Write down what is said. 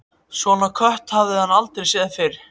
Svona kött hafði hann aldrei séð fyrr.